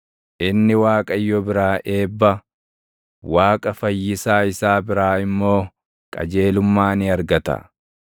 Inni Waaqayyo biraa eebba, Waaqa Fayyisaa isaa biraa immoo qajeelummaa ni argata.